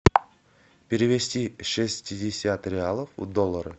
перевести шестьдесят реалов в доллары